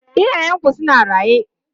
Iyayenku suna raye?